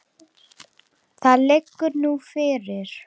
Það liggur nú fyrir.